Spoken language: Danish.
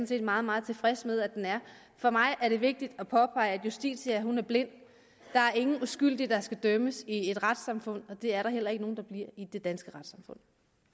set meget meget tilfreds med at den er for mig er det vigtigt at påpege at justitia er blind der er ingen uskyldige der skal dømmes i et retssamfund og det er der heller ikke nogen der bliver i det danske retssamfund